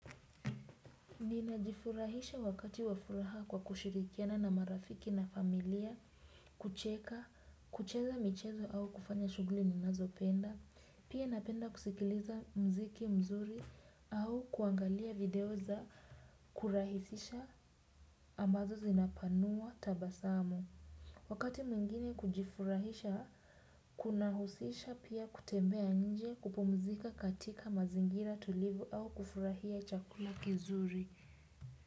Ninajifurahisha wakati wafuraha kwa kushirikiana na marafiki na familia, kucheka, kucheza michezo au kufanya shughuli ninazopenda, pia napenda kusikiliza mziki mzuri au kuangalia video za kurahisisha ambazo zinapanua tabasamu. Wakati mwingine kujifurahisha kuna husisha pia kutembea nje kupumzika katika mazingira tulivu au kufurahia chakula kizuri.